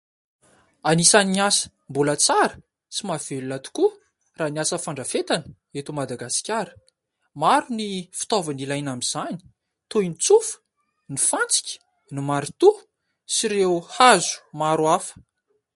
Anisan'ny asa mbola tsara sy mahavelona tokoa raha ny asa fandrafetana eto Madagasikara. Maro ny fitaovana ilaina amin'izany toy ny tsofa, ny fantsika, ny marito sy ireo hazo maro hafa.